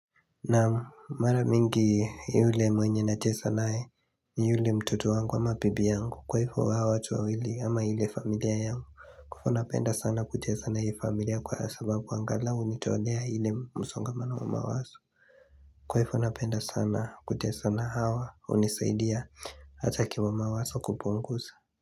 Naam mara mingi yule mwenye na cheza naye ni yule mtoto wangu ama bibi yangu kwa hivo hawa watu wawili ama ile familia yangu Kwa hivo napenda sana kucheza na hii familia kwa sababu angalau hunitolea ile musongamano wa mawazo Kwa hvyo napenda sana kucheza na hawa hunisaidia hata kima wazo kupunguza.